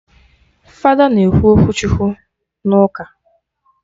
Fada na-ekwu okwu Chukwu na ụka